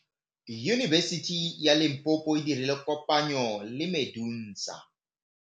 Yunibesiti ya Limpopo e dirile kopanyô le MEDUNSA.